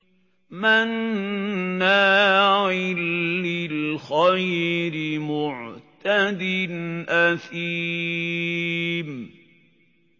مَّنَّاعٍ لِّلْخَيْرِ مُعْتَدٍ أَثِيمٍ